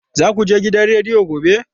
Za ku je gidan rediyo gobe?